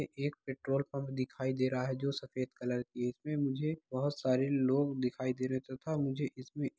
ए एक petrol pump दिखाई दे रहा है| जो सफेद कलर की है| इसमें मुझे बहोत सारे लोग दिखाई दे रहे हैं तथा मुझे इसमें --